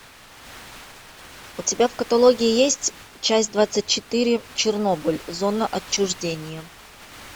у тебя в каталоге есть часть двадцать четыре чернобыль зона отчуждения